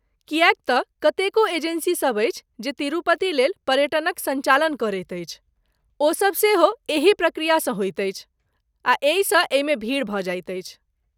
किएक तँ कतेको एजेंसीसभ अछि जे तिरुपतिलेल पर्यटनक सञ्चालन करैत अछि, ओ सभ सेहो एही प्रक्रियासँ होइत अछि, आ एहिसँ एहि मेँ भीड़ भऽ जाइत अछि।